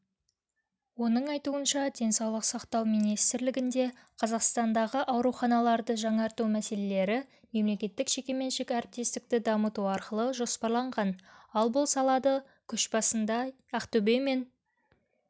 оның айтуынша денсаулық сақтау министрлігінде қазақстандағы ауруханаларды жаңарту мәселелері мемлекеттік-жеке меншік әріптестікті дамыту арқылы жоспарланған ал бұл салады көшбасында ақтөбе мен